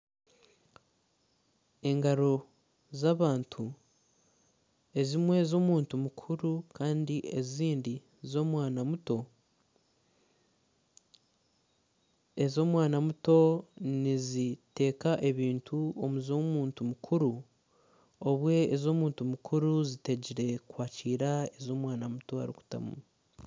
Engaro z'abantu , ezimwe z'omuntu muntu mukuru Kandi ezindi ez'omwana muto, ez'omwana muto nizita ebintu omu z'omuntu mukuru obwo ez'omuntu mukuru zitegire kwakiira ebi omwana muto arikumutamu